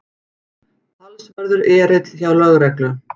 Talsverður erill hjá lögreglu